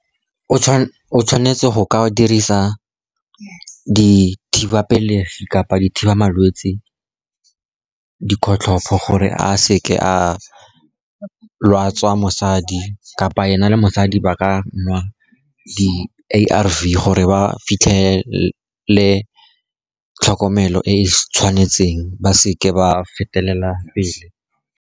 O tshwanetse go ka o dirisa dithiba pelegi kapa dithiba malwetsi, dikgotlhopo gore a seke a lwatsa mosadi, kapa ena le mosadi ba ka nwa di-A_R_V gore ba fitlhele tlhokomelo e e tshwanetseng ba seke ba fetelela pele.